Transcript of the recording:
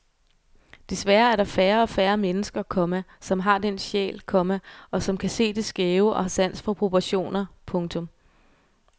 Desværre er der færre og færre mennesker, komma som har den sjæl, komma og som kan se det skæve og har sans for proportioner. punktum